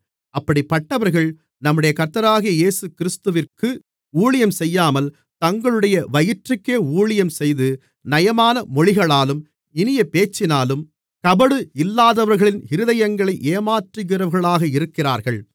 அப்படிப்பட்டவர்கள் நம்முடைய கர்த்தராகிய இயேசுகிறிஸ்துவிற்கு ஊழியம் செய்யாமல் தங்களுடைய வயிற்றுக்கே ஊழியம் செய்து நயமான மொழிகளாலும் இனிய பேச்சினாலும் கபடு இல்லாதவர்களின் இருதயங்களை ஏமாற்றுகிறவர்களாக இருக்கிறார்கள்